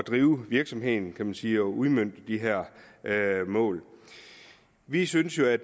drive virksomheden kan man sige altså at udmønte de her mål vi synes jo at